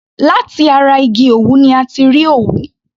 Láti ara igi òwú ni a ti rí òwú.